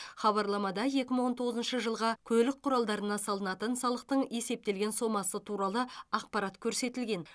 хабарламада екі мың он тоғызыншы жылға көлік құралдарына салынатын салықтың есептелген сомасы туралы ақпарат көрсетілген